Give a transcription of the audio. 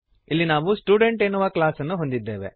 ಇಲ್ಲಿ ನಾವು ಸ್ಟುಡೆಂಟ್ ಎನ್ನುವ ಕ್ಲಾಸ್ ಅನ್ನು ಹೊಂದಿದ್ದೇವೆ